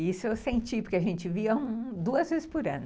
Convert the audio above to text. Isso eu senti, porque a gente via duas vezes por ano.